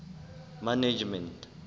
management